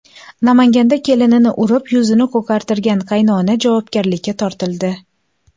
Namanganda kelinini urib, yuzini ko‘kartirgan qaynona javobgarlikka tortildi.